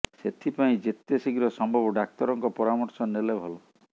ସେଥିପାଇଁ ଯେତେ ଶୀଘ୍ର ସମ୍ଭବ ଡାକ୍ତରଙ୍କ ପରାମର୍ଶ ନେଲେ ଭଲ